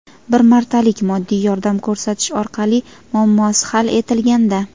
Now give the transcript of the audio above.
bir martalik moddiy yordam ko‘rsatish orqali muammosi hal etilganda;.